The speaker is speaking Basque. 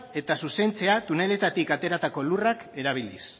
eta zuzentzea tuneletatik ateratako lurrak erabiliz